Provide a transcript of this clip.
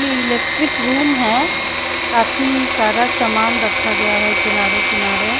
ये electric room है काफी सारा सामान रखा गया हैं किनारे किनारे --